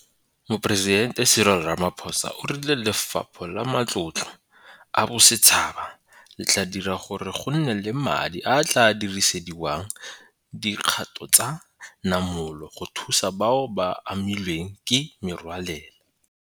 Moporesidente Cyril Ramaphosa o rile Lefapha la Matlotlo a Bosetšhaba le tla dira gore go nne le madi a a tla dirisediwang dikgato tsa namolo go thusa bao ba amilweng ke merwalela.